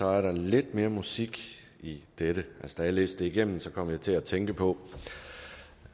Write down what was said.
er der lidt mere musik i dette da jeg læste det igennem kom jeg til at tænke på